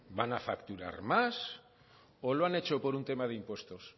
van a facturar más o lo han hecho por un tema de impuestos